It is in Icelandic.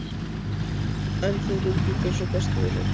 En þið lítið út eins og bestu vinir?